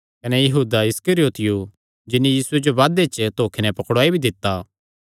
कने यहूदा इस्करियोती जिन्नी यीशुये जो बादे च धोखे नैं पकड़ुआई भी दित्ता